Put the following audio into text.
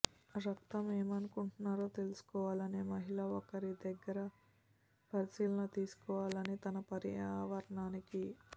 రక్తం ఏమనుకుంటున్నారో తెలుసుకోవాలనే మహిళ ఒక దగ్గరి పరిశీలన తీసుకోవాలి తన పర్యావరణానికి